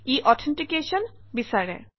ই authentication বিচাৰে